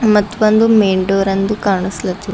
ಮತ್ತ್ ಬಂದು main door ಅಂದು ಕಾಣ್ಸ್ಲತ್ತಿ--